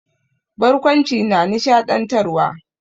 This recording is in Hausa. Barkwanci na nishaɗantarwa.